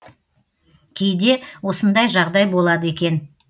кейде осындай жағдай болады екен